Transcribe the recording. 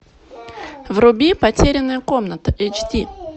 вруби потерянная комната эйч ди